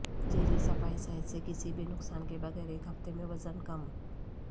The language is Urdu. جیلی صفائی صحت سے کسی بھی نقصان کے بغیر ایک ہفتے میں وزن کم